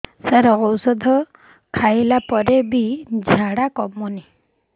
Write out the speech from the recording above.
ସାର ଔଷଧ ସବୁ ଖାଇଲା ପରେ ବି ଝାଡା କମୁନି